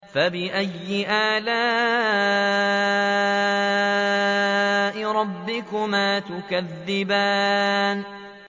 فَبِأَيِّ آلَاءِ رَبِّكُمَا تُكَذِّبَانِ